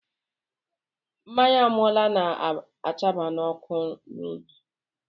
Mmanya ámáụla na-àchaba m ọkụ n'obi